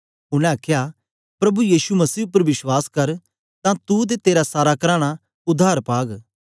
उनै आखया प्रभु यीशु मसीह उपर विश्वास कर तां तू ते तेरा सारा कराना उद्धार पाग